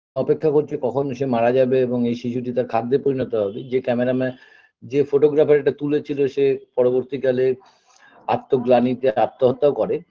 অপেক্ষা করছে কখন সে মারা যাবে এবং এই শিশুটি তার খাদ্যে পরিণত হবে যে camera man যে photographer এটা তুলেছিলো সে পরবর্তী কালে আত্মগ্লানীতে আত্মহত্যাও করে